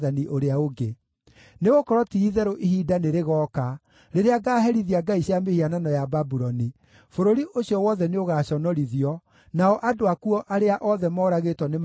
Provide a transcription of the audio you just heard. Nĩgũkorwo ti-itherũ ihinda nĩrĩgooka rĩrĩa ngaaherithia ngai cia mĩhianano ya Babuloni; bũrũri ũcio wothe nĩũgaconorithio, nao andũ akuo arĩa othe moragĩtwo nĩmakaaragana kuo.